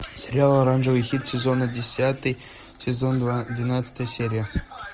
сериал оранжевый хит сезона десятый сезон два двенадцатая серия